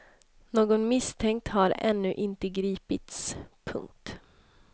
Någon misstänkt har ännu inte gripits. punkt